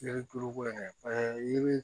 Yiri duuru ko in paseke yiri